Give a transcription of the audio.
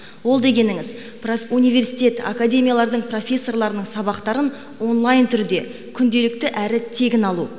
ол дегеніңіз университет академиялардың профессорларының сабақтарын онлайн түрде күнделікті әрі тегін алу